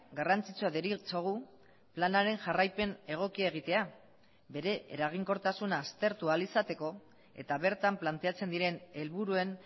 garrantzitsua deritzogu planaren jarraipen egokia egitea bere eraginkortasuna aztertu ahal izateko eta bertan planteatzen diren helburuen